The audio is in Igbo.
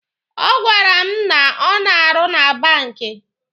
Ọ gwara m na ọ na-arụ na banki.